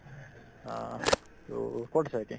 অ, to ক'ত আছা এতিয়াই